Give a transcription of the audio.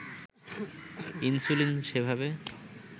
insulin সেভাবে